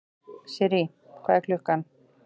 Sirrý, hvað er klukkan?